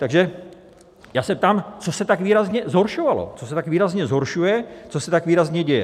Takže já se ptám, co se tak výrazně zhoršovalo, co se tak výrazně zhoršuje, co se tak výrazně děje?